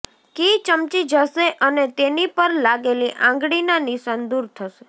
કી ચમકી જશે અને તેની પર લાગેલી આંગળીના નિશાન દૂર થશે